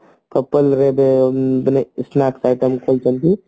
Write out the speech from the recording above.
ଏବେ ମାନେ snacks item ଚାଲିଛି